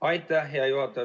Aitäh, hea juhataja!